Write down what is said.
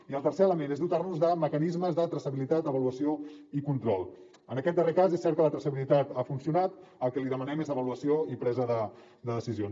i el tercer element és dotar nos de mecanismes de traçabilitat avaluació i control en aquest darrer cas és cert que la traçabilitat ha funcionat i el que li demanem és avaluació i presa de decisions